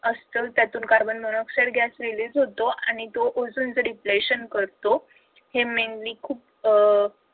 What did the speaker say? असत त्यातून arbon monoxide gas release होतो. आणि तो ozone चा deflation करतो हे mainly खूप अह